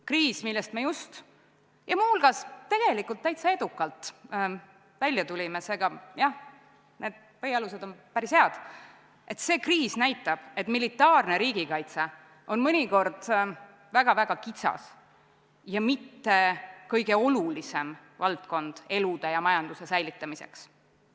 Kriis, millest me just ja muuseas tegelikult täitsa edukalt välja tulime – seega põhialused on päris head –, näitab, et militaarne riigikaitse on mõnikord väga-väga kitsas ja mitte kõige olulisem valdkond elude ja majanduse säilitamiseks.